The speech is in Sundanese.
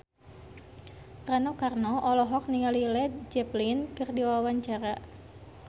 Rano Karno olohok ningali Led Zeppelin keur diwawancara